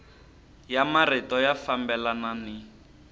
ya marito ya fambelana ni